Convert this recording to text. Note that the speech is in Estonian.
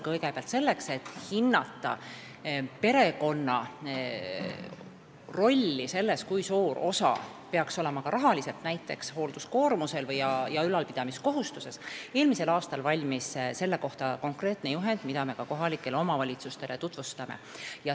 Kõigepealt, selleks et hinnata perekonna rolli, kui suur peaks olema ka rahaline osa näiteks hoolduskoormuse ja ülalpidamiskohustuse puhul, valmis eelmisel aastal konkreetne juhend, mida me ka kohalikele omavalitsustele tutvustame.